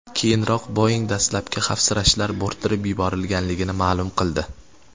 Keyinroq Boeing dastlabki xavfsirashlar bo‘rttirib yuborilganligini ma’lum qildi.